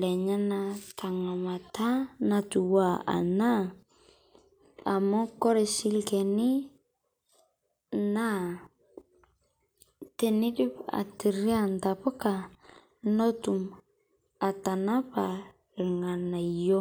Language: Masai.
lenyenak tengamata natiua ena amu ore oshi olchani naa teneidip aitaduo intapuka netum atanapa irnganayio.